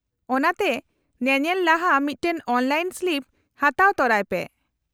-ᱚᱱᱟᱛᱮ, ᱧᱮᱧᱮᱞ ᱞᱟᱦᱟ ᱢᱤᱫᱴᱟᱝ ᱚᱱᱞᱟᱭᱤᱱ ᱥᱞᱤᱯ ᱦᱟᱛᱟᱣ ᱛᱚᱨᱟᱭ ᱯᱮ ᱾